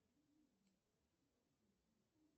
афина это моя сестра